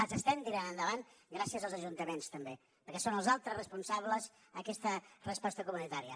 les estem tirant endavant gràcies als ajuntaments també perquè són els altres responsables a aquesta resposta comunitària